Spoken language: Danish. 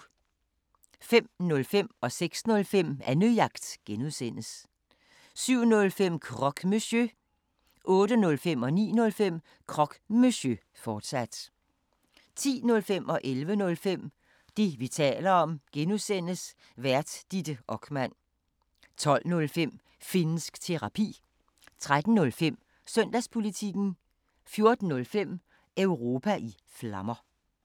05:05: Annejagt (G) 06:05: Annejagt (G) 07:05: Croque Monsieur 08:05: Croque Monsieur, fortsat 09:05: Croque Monsieur, fortsat 10:05: Det, vi taler om (G) Vært: Ditte Okman 11:05: Det, vi taler om (G) Vært: Ditte Okman 12:05: Finnsk Terapi 13:05: Søndagspolitikken 14:05: Europa i Flammer